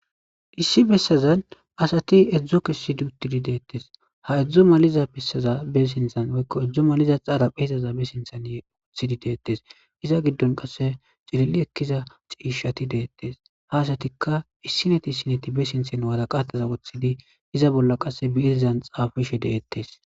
issi bessazan asati edzdzo kessidi uttidi deettes ha edzdzo maliza bessaza be sinthan woykko edzdzo maliza xaaraphe hizaza be sinthan wothidi deettes iza giddon qasse cililli ekkiza ciishati deettes ha asatikka issineti sineti be sinthen waraqataza woththidi iza bolla qasse biizzan xaafishe deettes